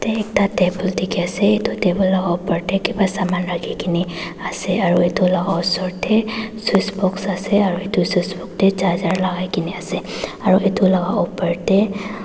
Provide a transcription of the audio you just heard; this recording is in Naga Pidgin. ekta table dekhi asa etu table laga opor tae kiva saman rakhina asa aru etu laga osor tae switch box asa eru etu switch box tae charger lagai asa aru etu laga opor tae.